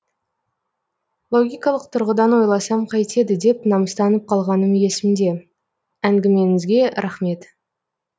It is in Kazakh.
логикалық тұрғыдан ойласам қайтеді деп намыстанып қалғаным есімде әңгімеңізге рахмет